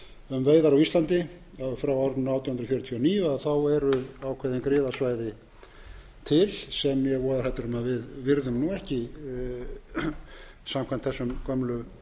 um veiðar á íslandi frá árinu átján hundruð fjörutíu og níu þá eru ákveðin griðasvæði til sem ég er voðahræddur um að við virðum ekki samkvæmt þessum gömlu